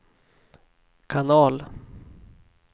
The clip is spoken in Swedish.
kanal